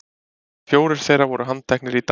Fjórir þeirra voru handteknir í dag